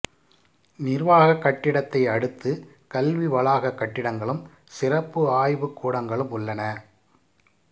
நிர்வாகக் கட்டடத்தை அடுத்து கல்வி வளாகக் கட்டிடங்களும் சிறப்பு ஆய்வுக்கூடங்களும் உள்ளன